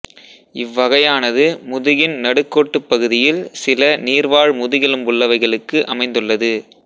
இவ்வகையானது முதுகின் நடுக்கோட்டுப் பகுதியில் சில நீர் வாழ் முதுகெலும்புள்ளவைகளுக்கு அமைந்துள்ளது